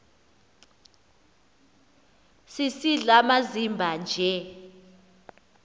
sisidl amazimba nje